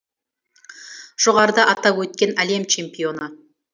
жоғарыда атап өткен әлем чемпионы